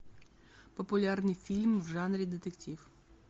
популярный фильм в жанре детектив